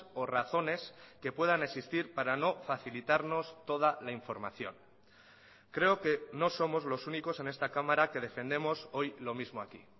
o razones que puedan existir para no facilitarnos toda la información creo que no somos los únicos en esta cámara que defendemos hoy lo mismo aquí